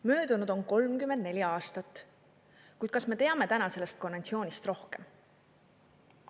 Möödunud on 34 aastat, kuid kas me teame täna sellest konventsioonist rohkem?